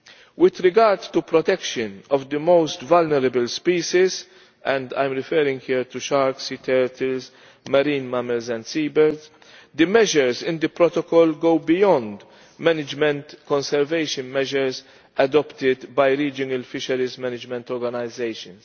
With regard to protection of the most vulnerable species and I am referring here to sharks, sea turtles, marine mammals and seabirds the measures in the protocol go beyond management conservation measures adopted by regional fisheries management organisations.